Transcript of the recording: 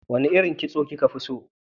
Wane irin kitso kika fi so?